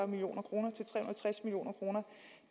million kroner